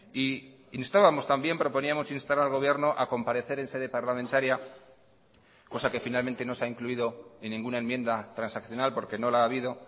y instábamos también proponíamos instar al gobierno a comparecer en sede parlamentaria cosa que finalmente no se ha incluido en ninguna enmienda transaccional porque no la ha habido